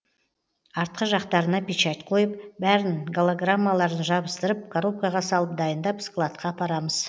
артқы жақтарына печать қойып бәрін голограммаларын жабыстырып коробкаға салып дайындап складқа апарамыз